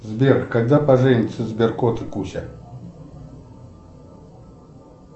сбер когда поженятся сберкот и куча